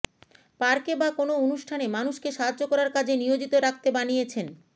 পার্কে বা কোন অনুষ্ঠানে মানুষকে সাহায্য করার কাজে নিয়োজিত রাখতে বানিয়েছেন